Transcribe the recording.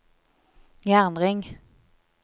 jernring